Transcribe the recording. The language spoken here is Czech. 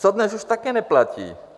To dnes už také neplatí.